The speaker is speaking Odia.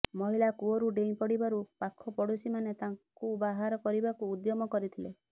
ମହିଳା କୂଅକୁ ଡେଇଁ ପଡିବାରୁ ପାଖପଡୋଶୀମାନେ ତାଙ୍କୁ ବାହାର କରିବାକୁ ଉଦ୍ୟମ କରିଥିଲେ